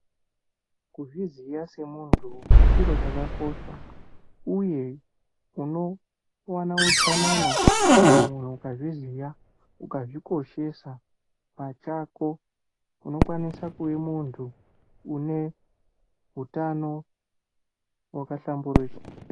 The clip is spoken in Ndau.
Kuzviziya semuntu chiro chakakosha uye unowana utsanana. Kana munhu ukazviziya, ukazvikoshesa pachako unokwanisa kuve muntu une utano hwakahlamburika.